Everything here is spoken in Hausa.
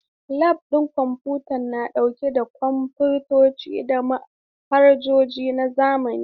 Lab ɗin kwamfuta na ɗauke da kwamfutoci da manhajoji na zamani.